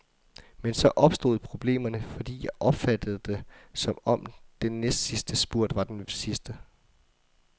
Men så opstod problemerne, fordi jeg opfattede det, som om den næstsidste spurt var den sidste.